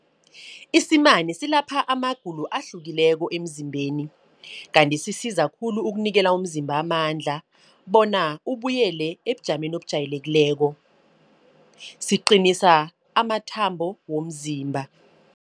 Isimane silapha amagulo ahlukileko emzimbeni. Kanti sisiza khulu ukunikela umzimba amandla, bona ubuyele ebujameni ebujayelekileko. Siqinisa amathambo womzimba.